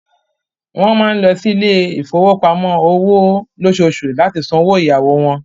Wọ́n máa ń lọ sí ilé ìfowópamọ́ òwò lóṣooṣù láti san owó ìyáwó wọn.